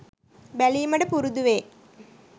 බැලීමට පුරුදු වේ.